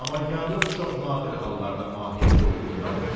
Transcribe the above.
Amma yarlıq çox nadir hallarda mahiyyətə uyğun gəlir.